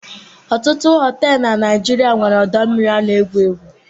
Ọtụtụ họtelụ na Naịjirịa nwere ọdọmmiri a na-egwu egwu.